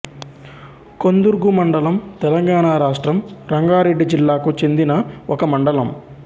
కొందుర్గు మండలం తెలంగాణ రాష్ట్రం రంగారెడ్డి జిల్లాకు చెందిన ఒక మండలం